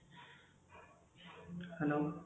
hello